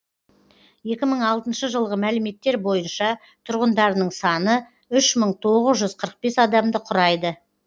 екі мың алтыншы жылғы мәліметтер бойынша тұрғындарының саны үш мың тоғыз жүз қырық бес адамды құрайды